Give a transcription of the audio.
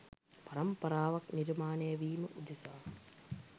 පරම්පරාවක් නිර්මාණය වීම උදෙසා